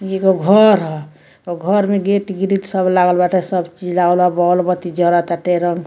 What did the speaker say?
ये गो घर हो और घर में गेट गिरिल लागल बाटे सब चीज लागल बा बोल बात्ती जरता टेरम --